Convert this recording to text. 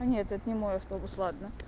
а нет это не мой автобус ладно